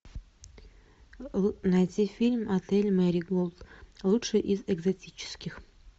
найти фильм отель мэриголд лучший из экзотических